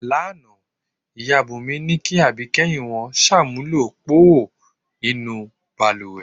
Lánàá, ìyá Búnmí ní kí àbíké̩yìn wo̩n s̩àmúlò póò nínú balùwè.